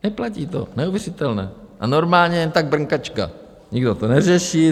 Neplatí to, neuvěřitelné, a normálně jen tak, brnkačka, nikdo to neřeší.